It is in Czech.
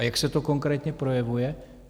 A jak se to konkrétně projevuje?